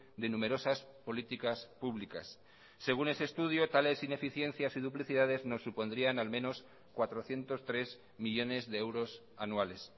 de numerosas políticas públicas según ese estudio tales ineficiencias y duplicidades nos supondrían al menos cuatrocientos tres millónes de euros anuales